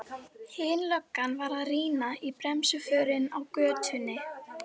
Hin löggan var að rýna í bremsuförin á götunni.